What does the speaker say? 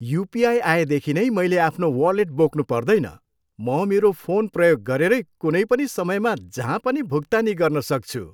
UPI आएदेखि नै मैले आफ्नो वालेट बोक्नुपर्दैन। म मेरो फोन प्रयोग गरेरै कुनै पनि समयमा जहाँ पनि भुक्तानी गर्न सक्छु।